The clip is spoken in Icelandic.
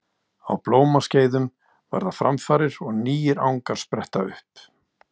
Á blómaskeiðum verða framfarir og nýir angar spretta upp.